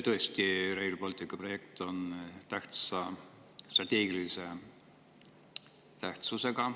Tõesti, Rail Balticu projekt on suure strateegilise tähtsusega.